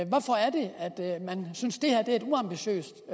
hvorfor er det man synes det her er et uambitiøst